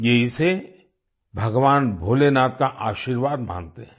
ये इसे भगवान भोलेनाथ का आशीर्वाद मानते हैं